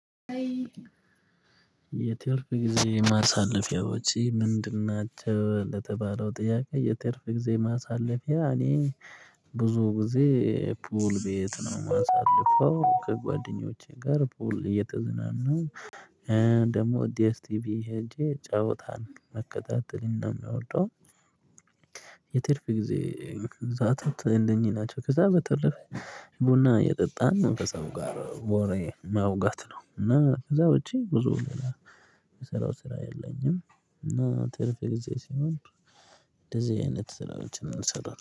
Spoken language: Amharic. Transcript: የትርፍ ጊዜ ማሳለፊያዎች ምንድን ናቸው? ለተባለው ጥያቄ የትርፍ ጊዜ ማሳለፊያ እኔ ብዙ ጊዜ ፑል ቤት ነው የማሳልፈው ከጓደኞቼ ጋር ፑል እየተዝናናው ደግሞ ዲኤስቲቪ ሄጄ ጨዋታል ነው መከታተል እንደሚያወጣው። የትርፍ ጊዜ እዛቱ እንደኚህ ናቸው ከዛ በተረፈ ቡና የጠጣን መንፈሳዊ ጋር ወሬ ማውጋት ነው። እና ከዛ ውጪ ብዙ ስራው ስራ የለኝም። እና ትርፍ ጊዜ ሲሆን እንደዚህ አይነት ስራዎችን ነው የምሰራው